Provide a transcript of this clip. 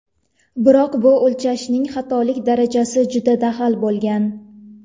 Biroq bu o‘lchashning xatolik darajasi juda dag‘al bo‘lgan.